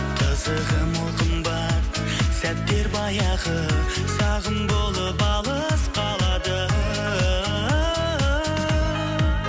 қызығы мол қымбат сәттер баяғы сағым болып алыс қалады